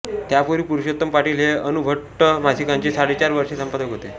त्यापूर्वी पुरुषोत्तम पाटील हे अनुष्टुभ मासिकाचे साडेचार वर्षे संपादक होते